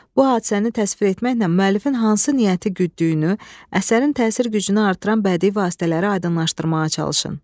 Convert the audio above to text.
Bu hadisəni təsvir etməklə müəllifin hansı niyyəti gütdüyünü, əsərin təsir gücünü artıran bədii vasitələri aydınlaşdırmağa çalışın.